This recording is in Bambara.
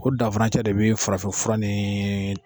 O danfurancɛ de be farafinfura nii